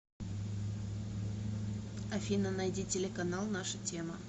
афина найди телеканал наша тема